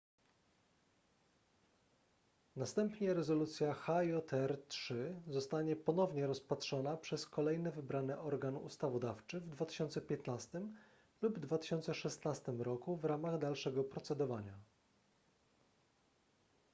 następnie rezolucja hjr-3 zostanie ponownie rozpatrzona przez kolejny wybrany organ ustawodawczy w 2015 lub 2016 roku w ramach dalszego procedowania